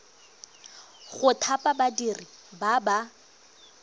go thapa badiri ba ba